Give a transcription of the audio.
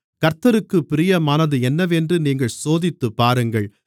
கர்த்தருக்குப் பிரியமானது என்னவென்று நீங்கள் சோதித்துப்பாருங்கள்